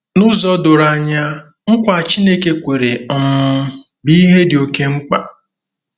N'ụzọ doro anya, nkwa Chineke kwere um bụ ihe dị oké mkpa.